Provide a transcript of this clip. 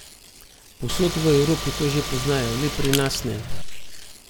Povsod v Evropi to že poznajo, le pri nas ne.